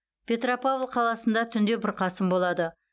петропавл қаласында түнде бұрқасын болады